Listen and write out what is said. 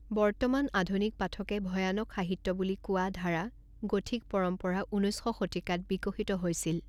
বৰ্তমান আধুনিক পাঠকে ভয়ানক সাহিত্য বুলি কোৱা ধাৰা গথিক পৰম্পৰা ঊনৈছ শ শতিকাত বিকশিত হৈছিল।